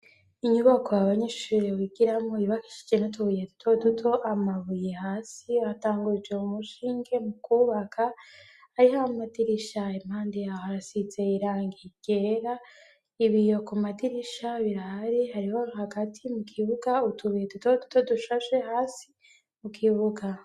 Inyubako abanyeshure bigiramo yubakishije nutubuye dutoduto amabuye hasi atanguje umushinge mu kubaka hariho aamadirisha impande yaho arasize irangi ryera ibiyo ku madirisha birari hariho hagati mu kibuga utubuye tuto duto dushashe hasi mu kibuga.